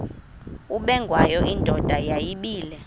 ubengwayo indoda yayibile